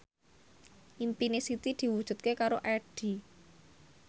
impine Siti diwujudke karo Addie